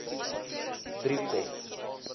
driekop